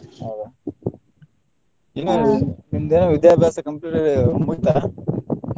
ಹೌದಾ ಇನ್ನ ನಿಮ್ದ ವಿಧ್ಯಾಬ್ಯಾಸ complete ಆಗಿ ಮುಗಿತಾ?